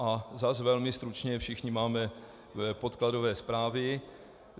A zase velmi stručně, všichni máme podkladové zprávy.